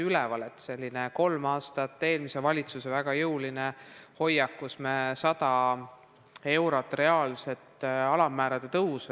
Eelmisel valitsusel oli kolm aastat väga jõuline hoiak taotleda 100 eurot reaalset alammäära tõusu.